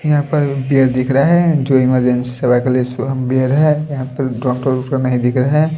यहां पर बैड दिख रहा है जो इमरजेंसी सेवा के लिए इसको हम बैड है यहां पर डॉक्टर ओक्टर नहीं दिख रहे --